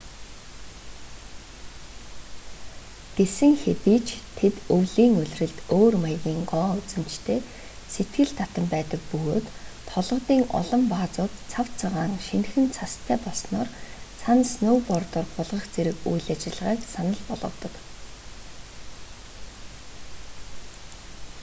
гэсэн хэдий ч тэд өвлийн улиралд өөр маягийн гоо үзэмжтэй сэтгэл татам байдаг бөгөөд толгодын олон баазууд цав цагаан шинэхэн цастай болсноор цана сноубордоор гулгах зэрэг үйл ажиллагааг санал болгодог